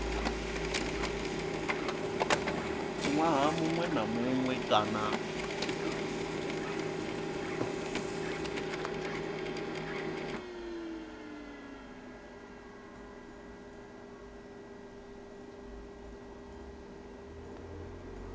ṅwaha muṅwe na muṅwe kana